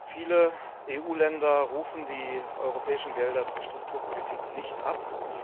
Viele EU Länder rufen die europäischen Gelder zur Strukturpolitik nicht ab.